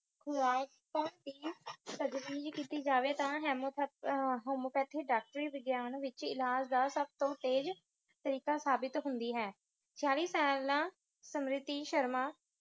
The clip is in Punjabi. ਕੀਤੀ ਜਾਵੇ ਤਾਂ ਹੈਮੋਪੈਥੀ homeopathic ਡਾਕਟਰੀ ਵਿਗਿਆਨ ਵਿਚ ਇਲਾਜ ਦਾ ਸਬ ਤੋਂ ਤੇਜ ਤਰੀਕਾ ਸਾਬਿਤ ਹੁੰਦੀ ਹੈ , ਸਮ੍ਰਿਤੀ ਸ਼ਰਮਾ